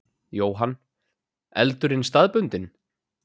Jóhann: Eldurinn staðbundinn?